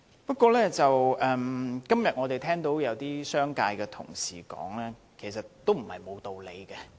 不過，今天有些代表商界的同事的發言，也不無道理。